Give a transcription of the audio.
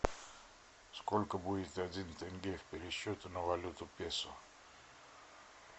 сколько будет один тенге в пересчете на валюту песо